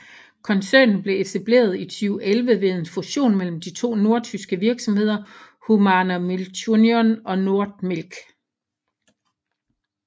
Koncernen blev etableret i 2011 ved en fusion mellem de to nordtyske virksomheder Humana Milchunion og Nordmilch